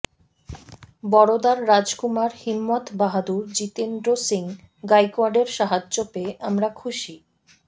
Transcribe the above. বরোদার রাজকুমার হিম্মত বাহাদুর জিতেন্দ্র সিং গাইকোয়াড়ের সাহায্য পেয়ে আমরা খুশি